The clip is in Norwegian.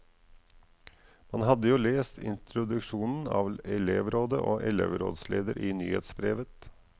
Man hadde jo lest introduksjonen av elevrådet og elvrådsleder i nyhetsbrevet.